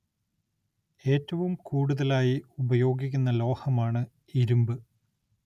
ഏറ്റവും കൂടുതലായി ഉപയോഗിക്കുന്ന ലോഹമാണ് ഇരുമ്പ്